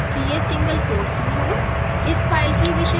निश्चित करें कि यह सिंगल कोट्स में हो